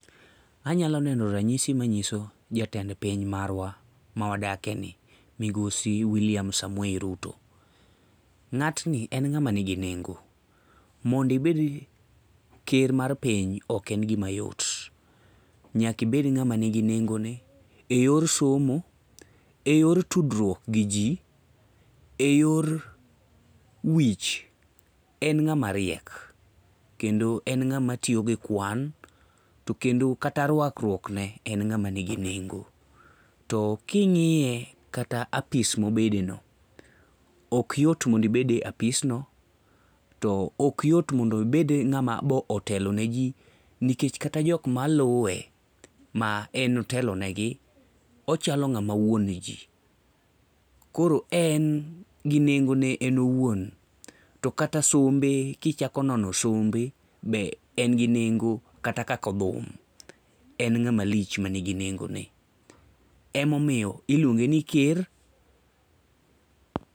anyalo neno ranyisi manyiso jatend piny marwa mawa dakeni migosi william Ruto, ngatni en ng'ama ni gi nego ,mondo ibed ker mar piny ok en gima yot, nyaka ibed ngama ni gi nengo ne e yor somo , e yor tudruok gi ji, yor wich en ngama riek kendo en ng'ama tiyo gi kwan to kendo kata ruak ruokne ne ng'ama ni gi nengo ,to kingiye kata apis mobede no ,ok yot mondo ibed e apis no ,to ok yot e mondo ibed ng'ama otelo ne ji nikech kata mana jok maluwe ma en otelo ne gi ,ochalo ng'ama wuon ji ,kor en gi nengo ne en owuon to kata sombe kichako nono sombe be en gi nengo kata kako thum, en ngama lich mani gi nengo ne emomiyo iluonge ni ker.